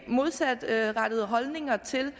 modsatrettede holdninger til